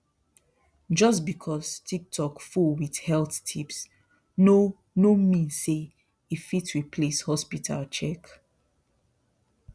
just because tiktok full with health tips no no mean say e fit replace hospital check